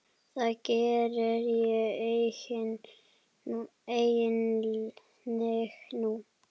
Það geri ég einnig nú.